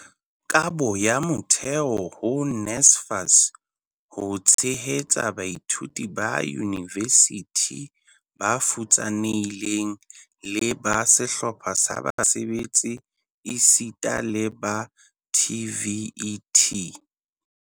"Kabo ya motheo ho NSFAS ho tshehetsa baithuti ba yunivesithi ba futsanehileng le ba sehlopha sa basebetsi esita le ba TVET"